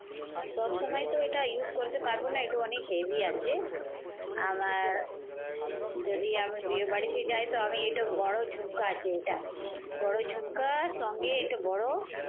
সব সময়তো এটা use করতে পারবো না, এটা অনেক heavy আছে। আমার যদি আমি বিয়ে বাড়িতে যাই তো আমি এটা বড় ঝুমকা আছে এটা। বড় ঝুমকার সঙ্গে এটা বড়